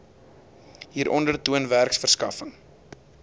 hieronder toon werkverskaffing